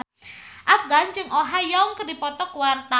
Afgan jeung Oh Ha Young keur dipoto ku wartawan